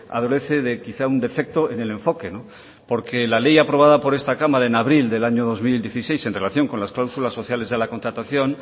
adolece de quizás un defecto en el enfoque no porque la ley aprobada por esta cámara en abril del año dos mil dieciséis en relación con las cláusulas sociales de la contratación